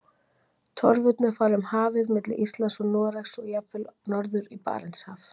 Torfurnar fara um hafið milli Íslands og Noregs og jafnvel allt norður í Barentshaf.